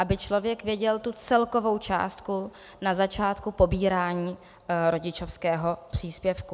Aby člověk věděl tu celkovou částku na začátku pobírání rodičovského příspěvku.